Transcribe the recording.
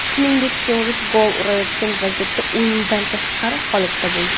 Shuningdek, Suares gol urayotgan vaziyatda o‘yindan tashqari holatda bo‘lgan.